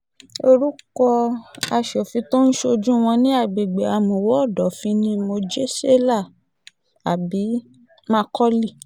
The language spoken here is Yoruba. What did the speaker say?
orúkọ aṣòfin tó ń ṣojú wọn ní agbègbè àmúwò ọ̀dọ́fín ní mojèselá abi- macauley